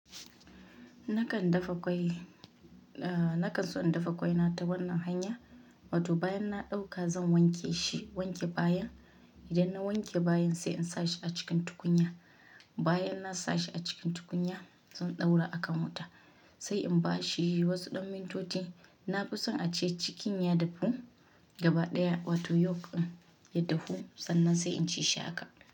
Nakan dafa ƙwai, nakan so in dafa ƙwai na ta wannan hanya. Wato bayan na ɗauka zan wanke shi, wanke baya. Idan na wanke bayan sai in sa shi a cikin tukunya. Bayan na sa shi a cikin tukunya zan ɗaura akan wuta sai in ba shi wasu ɗan mintoti. Na fi son a ce cikin ya dafu gaba ɗaya wato yolk ɗin ya dafu sannan sai in ci shi haka.